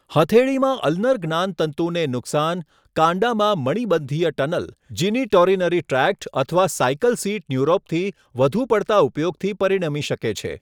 હથેળીમાં ulnar જ્ઞાનતંતુને નુકસાન, કાંડામાં મણિબંધીય ટનલ, જીનીટોરીનરી ટ્રેક્ટ અથવા સાયકલ સીટ ન્યુરોપથી વધુ પડતા ઉપયોગથી પરિણમી શકે છે.